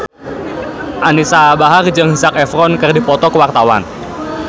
Anisa Bahar jeung Zac Efron keur dipoto ku wartawan